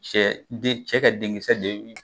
Cɛ den cɛ ka den kisɛ de bi